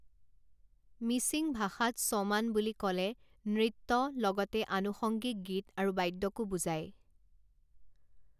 মিচিং ভাষাত চঃমান বুলি ক'লে নৃত্য লগতে আনুষংগিক গীত আৰু বাদ্যকো বুজায়।